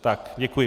Tak, děkuji.